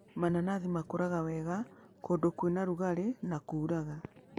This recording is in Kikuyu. Mananathi makũraga wega kũndũ kwĩna rugarĩ na kuuraga.